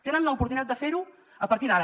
tenen l’oportunitat de fer ho a partir d’ara